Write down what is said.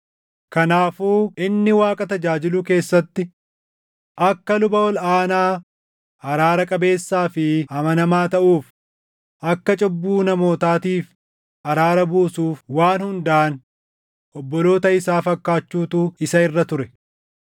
Kanaafuu inni Waaqa tajaajiluu keessatti akka luba ol aanaa araara qabeessaa fi amanamaa taʼuuf, akka cubbuu namootaatiif araara buusuuf waan hundaan obboloota isaa fakkaachuutu isa irra ture.